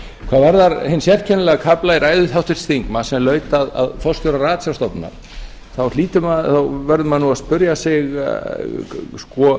varðar hinn sérkennilega kafla í ræðu háttvirtan þingmann sem laut að forstjóra ratsjárstofnunar þá verður maður nú að spyrja sig sko